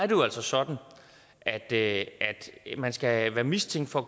jo altså sådan at at man skal være mistænkt for